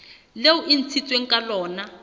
leo e ntshitsweng ka lona